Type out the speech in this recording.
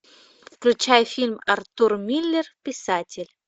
включай фильм артур миллер писатель